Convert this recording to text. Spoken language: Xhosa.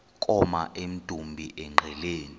koma emdumbi engqeleni